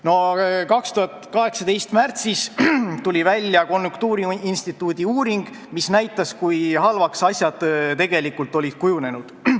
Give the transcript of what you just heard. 2018. aasta märtsis tuli välja konjunktuuriinstituudi uuring, mis näitas, kui halvaks asjad tegelikult olid kujunenud.